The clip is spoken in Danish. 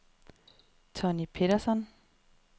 Tonni Petersson